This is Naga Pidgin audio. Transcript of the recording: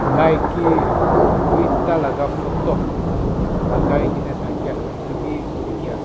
maiki duitah laga photo lagai ke na thakia etu bhi dikhi as--